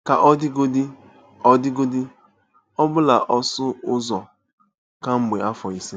Ka ọ dịgodị, ọ dịgodị, ọ bụla ọsụ ụzọ kemgbe afọ ise.